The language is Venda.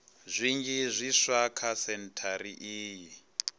zwinzhi zwiswa kha sentshari iyi